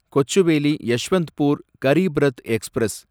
Kochuveli Yeshwantpur Garib Rath express